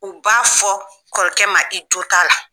U b'a fɔ kɔrɔkɛ ma i jo t'a la.